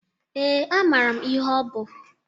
Ee, amara m ihe ọ bụ.